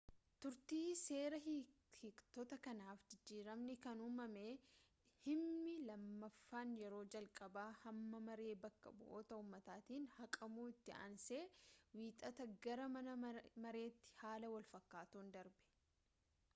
turtii seera hiiktotaa kanaaf jijiramnii kan umamee himni lamaffaan yeroo jalqabaa mana-maree baka bu'oota ummataatiin haqamuu itti aansee wiixata gara mana mareetti haala walfakaatuun darbe